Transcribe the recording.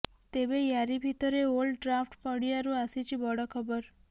ତେବେ ୟାରି ଭିତରେ ଓଲ୍ଡ ଟ୍ରାଫଡ୍ ପଡିଆରୁ ଆସିଛି ବଡ ଖବର